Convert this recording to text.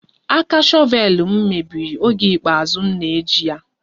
Aka shọvel m mebiri oge ikpeazụ m na-eji ya